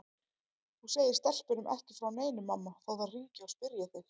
Þú segir stelpunum ekki frá neinu mamma þó þær hringi og spyrji þig.